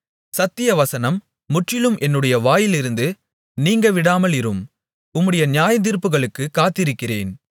சத்திய வசனம் முற்றிலும் என்னுடைய வாயிலிருந்து நீங்கவிடாமலிரும் உம்முடைய நியாயத்தீர்ப்புகளுக்குக் காத்திருக்கிறேன்